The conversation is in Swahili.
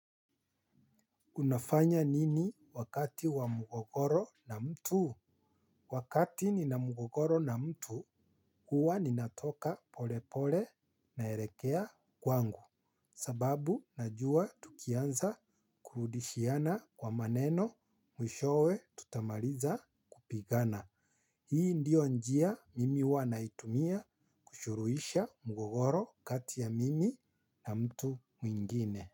Unafanya nini wakati wa mgogoro na mtu? Wakati nina mgogoro na mtu, huwa ninatoka polepole naelekea kwangu. Sababu najua tukianza kurudishiana kwa maneno mwishowe tutamaliza kupigana. Hii ndio njia mimi huwanaitumia kusuluhisha mgogoro kati ya mimi na mtu mwingine.